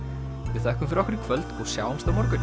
við þökkum fyrir okkur í kvöld og sjáumst á morgun